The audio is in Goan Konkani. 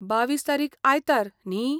बावीस तारीख आयतार . न्ही?